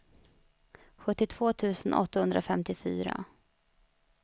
sjuttiotvå tusen åttahundrafemtiofyra